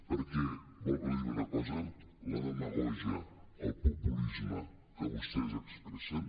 perquè vol que li digui una cosa la demagògia el populisme que vostès expressen